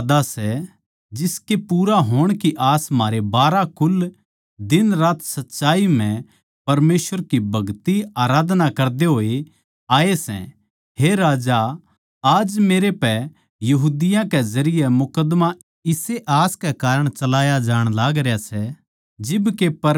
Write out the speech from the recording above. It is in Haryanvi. यो वोए वादा सै जिसके पूरे होण की आस म्हारे बारहां कुल दिनरात सच्चाई म्ह परमेसवर की भगतिआराधना करदे होए आये सै हे राजा आज मेरे पै यहूदियाँ के जरिये मुकद्दमा इस्से आस कै कारण चलाया जाण लागरया सै